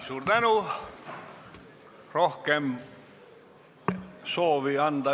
Suur tänu!